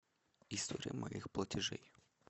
история моих платажей